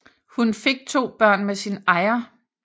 Hun fik to børn med sin ejer